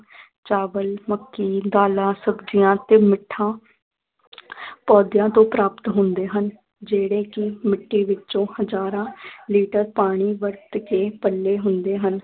ਚਾਵਲ, ਮੱਕੀ, ਦਾਲਾਂ, ਸਬਜੀਆਂ ਤੇ ਮਿੱਠਾ ਪੌਦਿਆਂ ਤੋਂ ਪਰਾਪਤ ਹੁੰਦੇ ਹਨ ਜਿਹੜੇ ਕਿ ਮਿੱਟੀ ਵਿੱਚੋਂ ਹਜਾਰਾਂ ਲੀਟਰ ਪਾਣੀ ਵਰਤ ਕੇ ਪਲੇ ਹੁੰਦੇ ਹਨ